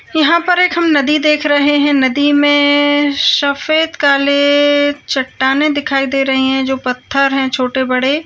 यहाँ पर एक हम नदी देख रहे हैं नदी में सफेद काले-ले चट्टाने दिखाई दे रही हैं जो पत्थर हैं छोटे बड़े।